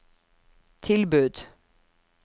tilbud